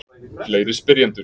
Fleiri spyrjendur: